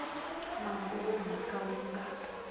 mongo wa mhaka wu nga